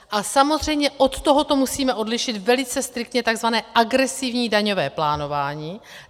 A samozřejmě od tohoto musíme odlišit velice striktně tzv. agresivní daňové plánování.